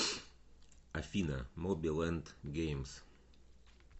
афина моби лэнд геймс